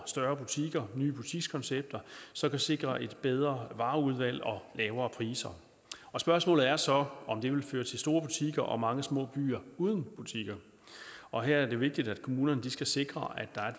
større butikker nye butikskoncepter som kan sikre et bedre vareudvalg og lavere priser og spørgsmålet er så om det vil føre til store butikker og mange små byer uden butikker og her er det vigtigt at kommunerne skal sikre at der er